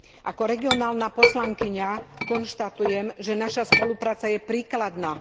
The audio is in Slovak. Ako regionálna poslankyňa konštatujem, že naša spolupráca je príkladná.